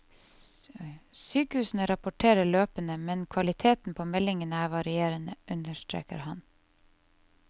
Sykehusene rapporterer løpende, men kvaliteten på meldingene er varierende, understreker han.